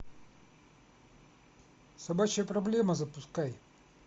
собачья проблема запускай